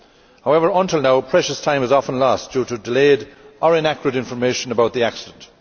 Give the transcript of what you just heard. However, until now, precious time is often lost due to delayed or inaccurate information about the accident.